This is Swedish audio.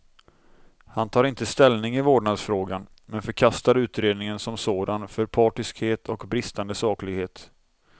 Han tar inte ställning i vårdnadsfrågan, men förkastar utredningen som sådan för partiskhet och bristande saklighet.